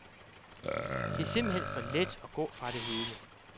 Det er simpelthen for let at gå fra det hele.